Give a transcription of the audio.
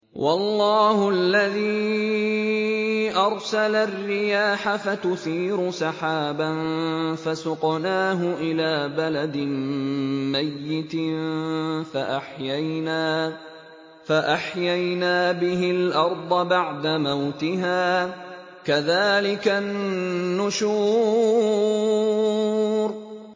وَاللَّهُ الَّذِي أَرْسَلَ الرِّيَاحَ فَتُثِيرُ سَحَابًا فَسُقْنَاهُ إِلَىٰ بَلَدٍ مَّيِّتٍ فَأَحْيَيْنَا بِهِ الْأَرْضَ بَعْدَ مَوْتِهَا ۚ كَذَٰلِكَ النُّشُورُ